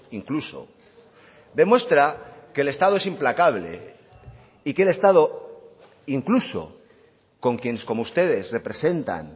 incluso demuestra que el estado es implacable y que el estado incluso con quienes como ustedes representan